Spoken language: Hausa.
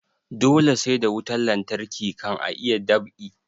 Dole sai da wutan lantarki kan a iya dab'i